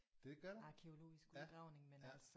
Det gør du ja ja